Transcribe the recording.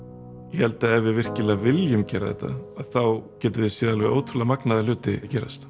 ég held að ef við virkilega viljum gera þetta þá getum við séð alveg ótrúlega magnaða hluti gerast